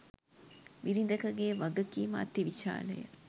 බිරිඳකගේ වගකීම අතිවිශාලය.